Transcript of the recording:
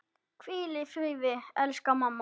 Hvíl í friði, elsku mamma.